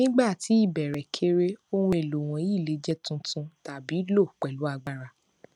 nígbà tí ìbéèrè kéré ohun èlò wọnyí le jẹ tuntun tàbí lo pẹlú agbára